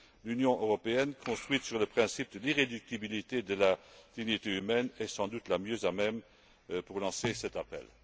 L'Union européenne, construite sur le principe de l'irréductibilité de la dignité humaine est sans doute la mieux placée pour lancer cet appel.